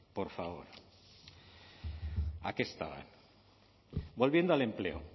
por favor a qué estaban volviendo al empleo